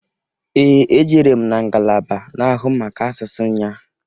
Ee! Ejere m na ngalaba na-ahụ maka asụsụ nnyaa.